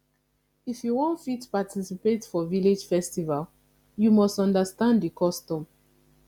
if you wan fit participate for village festival you must understand the custom